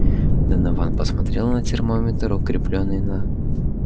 донован посмотрел на термометр укреплённый на